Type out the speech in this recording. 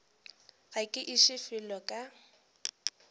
ga ke iše felo ka